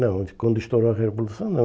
Não, quando estourou a Revolução não.